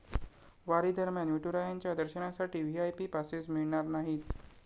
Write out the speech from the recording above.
वारीदरम्यान विठुरायांच्या दर्शनासाठी VIP passes मिळणार नाहीत!